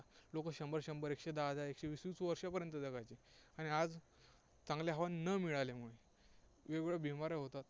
लोकं शंभर शंभर, एकशे दहा दहा, एकशे वीस वीस वर्षांपर्यंत जगायचे. आणि आज चांगली हवा न मिळाल्यामुळे वेगवेगळ्या बिमाऱ्या होतात.